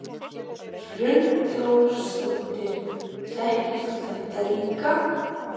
Hrund Þórsdóttir: Þekktir þú þetta líka?